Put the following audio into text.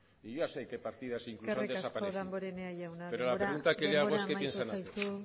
y yo ya sé qué partidas incluso han desaparecido pero la pregunta que le hago es qué piensan hacer eskerrik asko damborenea jauna denbora amaitu zaizu